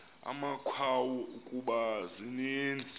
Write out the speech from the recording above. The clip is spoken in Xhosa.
amakhawu kuba zininzi